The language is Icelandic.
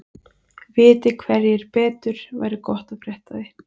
Viti einhverjir betur væri gott að frétta af því.